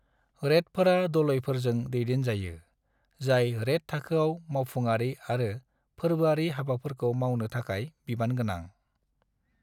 रेदफोरा डलइफोरजों दैदेनजायो , जाय रेद थाखोयाव मावफुंआरि आरो फोर्बोआरि हाबाफोरखौ मावनो थाखाय बिबानगोनां।